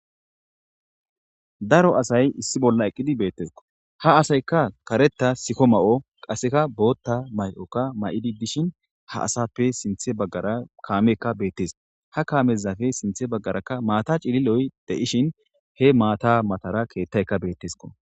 Daro asay issi bolla eqqidi deetesko ha asayka karetha siko mayo qaseka boothaka siko mayo mayidi diahin ha asape sinthan bagara kameyka beetees ha kameypeka guye bagara maata cilliloy de'ishin he maata matara keethayka beetesko.